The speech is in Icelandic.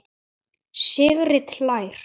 Sigrid hlær.